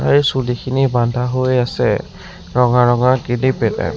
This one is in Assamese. আৰু চুলিখিনি বান্ধা হৈ আছে ৰঙা ৰঙৰ কিলিপ এটাত।